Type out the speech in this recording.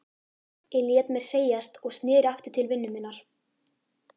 Ég lét mér segjast og sneri aftur til vinnu minnar.